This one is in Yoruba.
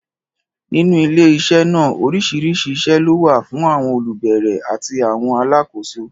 Nínú ilé iṣẹ́ náà, oríṣiríṣi iṣẹ́ ló wà fún àwọn olùbẹ̀rẹ̀ àti àwọn alákòóso